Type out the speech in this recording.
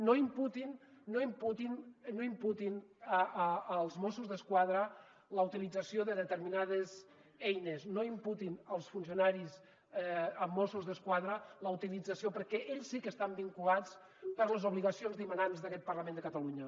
no imputin no imputin als mossos d’esquadra la utilització de determinades eines no imputin als funcionaris mossos d’esquadra la utilització perquè ells sí que estan vinculats per les obligacions dimanants d’aquest parlament de catalunya